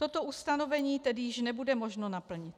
Toto ustanovení tedy již nebude možno naplnit.